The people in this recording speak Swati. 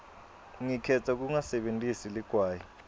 ngikhetsa kungasebentisi ligwayi